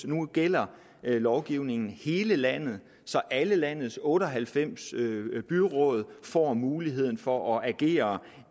nu gælder lovgivningen hele landet så alle landets otte og halvfems byråd får muligheden for at agere